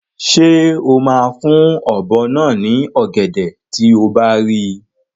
Ṣé o máa fún ọ̀bọ náà ní ọ̀gẹ̀dẹ̀ tí o bá rí i?